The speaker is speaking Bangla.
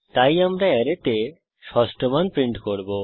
তাই আমরা অ্যারেতে ষষ্ঠ মান প্রিন্ট করব